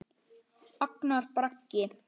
Agnar Bragi.